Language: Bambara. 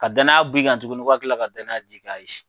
Ka danaya b'i kan tuguni ko ka kila ka danaya da i kan ayi.